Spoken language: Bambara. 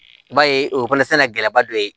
I b'a ye o fana gɛlɛyaba dɔ ye